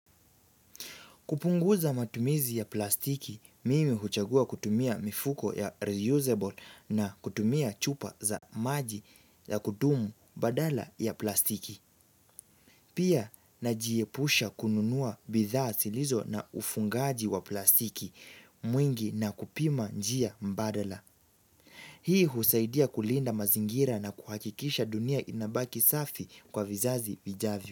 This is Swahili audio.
Kupunguza matumizi ya plastiki, mimi huchagua kutumia mifuko ya reusable na kutumia chupa za maji ya kudumu badala ya plastiki. Pia najiepusha kununua bidhaa zilizo na ufungaji wa plastiki mwingi na kupima njia mbadala. Hii husaidia kulinda mazingira na kuhakikisha dunia inabaki safi kwa vizazi vijavyo.